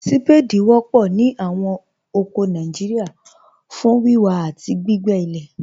Ṣpáàdí wọ̀pọ̀ ní awọn oko Nàìjíríà fún wíwà àti gbìgbé ilẹ̀.